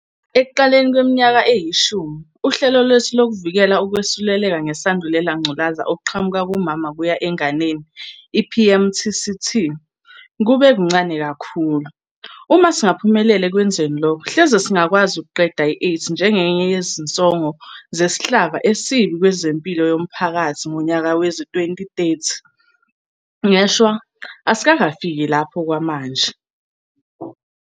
Ekuqaleni kweminyaka eyishumi, uhlelo lwethu lokuvikela ukwesuleleka ngeSandulela ngculazi okuqhamuka kumama kuya enganeni, i-PMTCT, kube kuncane kakhulu. Uma singaphumelela ekwenzeni lokho, hleze singakwazi ukuqeda i-AIDS njengenye yezinsongo zesihlava esibi kwezempilo yomphakathi ngonyaka wezi-2030. Ngeshwa, asikafiki lapho okwamanje.